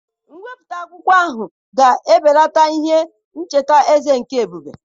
Mwepụta akwụkwọ ahụ ga-ebelata ihe ncheta eze nke ebube.